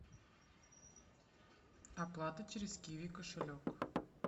оплата через киви кошелек